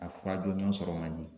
A fura jɔnjɔn sɔrɔ man di.